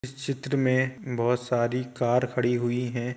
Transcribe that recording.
इस चित्र में बहुत सारी कार खड़ी हुई हैं।